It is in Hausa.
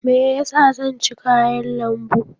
Me yasa zan ci kayan lambu?